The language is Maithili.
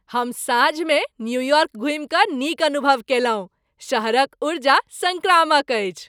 हम साँझमे न्यूयार्क घुमि कऽ नीक अनुभव कयलहुँ। शहरक ऊर्जा संक्रामक अछि।